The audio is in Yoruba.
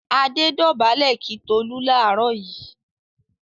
Adé dọ̀bálẹ̀ kí Tolú láàárọ̀ yìí.